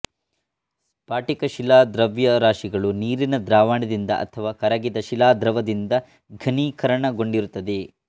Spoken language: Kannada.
ಸ್ಫಾಟಿಕ ಶಿಲಾ ದ್ರವ್ಯರಾಶಿಗಳು ನೀರಿನ ದ್ರಾವಣದಿಂದ ಅಥವಾ ಕರಗಿದ ಶಿಲಾದ್ರವ ದಿಂದ ಘನೀಕರಣಗೊಂಡಿರುತ್ತದೆ